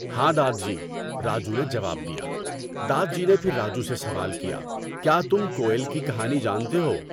ہاں دادجی، راجو نے جواب دیا۔ دادجی نے پھر راجو سے سوال کیا، کیا تم کوئل کی کہانی جانتے ہو؟